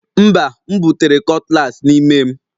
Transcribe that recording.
Mba, m butere cutlass n'ime m